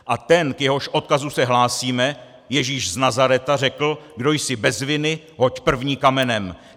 A ten, k jehož odkazu se hlásíme, Ježíš z Nazaretu, řekl: "Kdo jsi bez viny, hoď první kamenem."